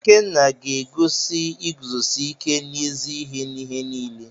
Ikenna ga-egosi iguzosi ike n’ezi ihe n’ihe niile.